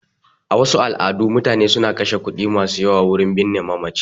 A wasu al'adu, mutane suna kashe kuɗi masu yawa wurin binne mamaci